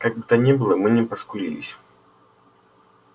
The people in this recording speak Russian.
как бы то ни было мы не поскупились